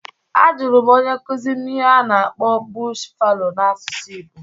A jụrụ m onye nkuzi m ihe a na-akpọ "bush fallow" n'asụsụ igbo